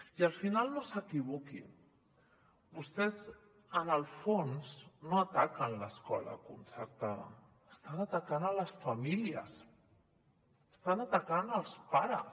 i al final no s’equivoquin vostès en el fons no ataquen l’escola concertada estan atacant les famílies estan atacant els pares